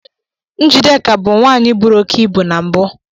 Njideka bu nwanyi bụrụ oke ibu na mbụ.